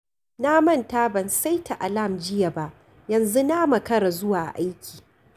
Na manta ban saita alam jiya ba, yanzu na makara zuwa aiki.